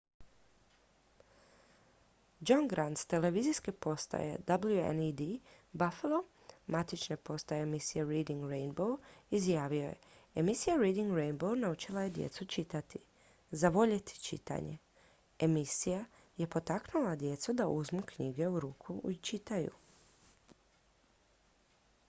"john grant s televizijske postaje wned buffalo matične postaje emisije reading rainbow izjavio je "emisija reading rainbow naučila je djecu čitati,... zavoljeti čitanje – [emisija] je potaknula djecu da uzmu knjigu u ruke i čitaju.""